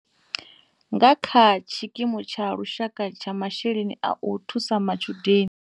Nga kha Tshikimu Tsha Lushaka Tsha Masheleni a u Thusa Matshudeni.